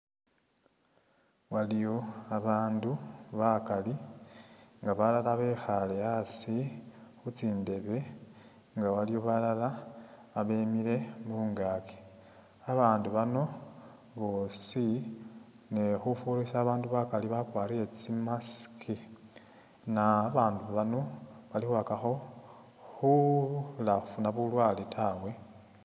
Waliyo abandu bakali nga balala bekhale asi khu tsindebe nga waliyo balala babemile mungaaki, abandu bano bosi ne khufurisa abandu bakali bakwarire tsi mask na babandu bano bali khukhakakho khula khufuna bulwale tawe